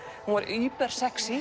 hún var